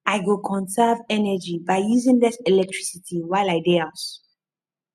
i go conserve energy by using less electricity while i dey house